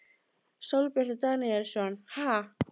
Sólbjartur Daníelsson: Ha?